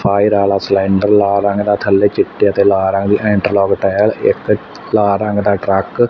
Fire ਆਲ਼ਾ cylinder ਲਾਲ ਰੰਗ ਦਾ ਥੱਲੇ ਚਿੱਟੇ ਅਤੇ ਲਾਲ ਰੰਗ ਦੀ ਏੰਟਰਲੋਕ ਟਾਇਲ ਇੱਕ ਲਾਲ ਰੰਗ ਦਾ ਟਰੱਕ ।